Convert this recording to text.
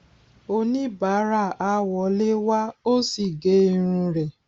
oníbàárà a wọlé wá o sì gé irun rẹ